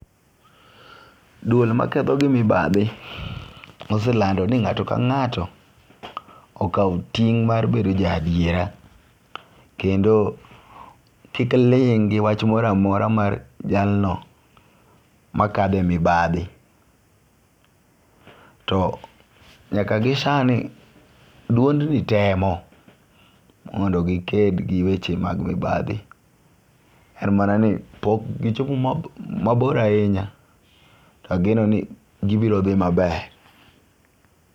Duol makedo gi mibathi, oselando ni nga'to ka nga'to akaw ting' mar bedo jaa diera, kendo kik ling' gi wach mora mora mar jalno makatho e mibathi, to nyaka gi sani duondni temo mondo giked gi weche mag mibathi en mana ni pok gichopo mabor ahinya ageno ni gibirothi maber.